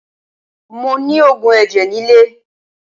Mo ni oògùn ẹ̀jẹ̀ nilé